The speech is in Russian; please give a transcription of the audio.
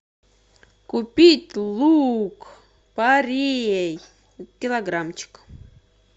купить лук порей килограммчик